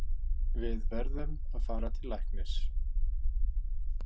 Við verðum að fara til læknis.